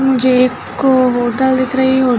मुझे एक होटल दिख रही है हो --